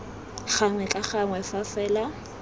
gangwe ka ngwaga fa fela